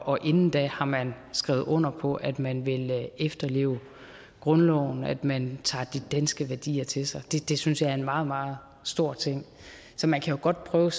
og inden da har man skrevet under på at man vil efterleve grundloven at man tager de danske værdier til sig det synes jeg er en meget meget stor ting så man kan godt prøve